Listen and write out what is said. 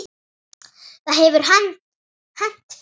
Það hefur hent fleiri.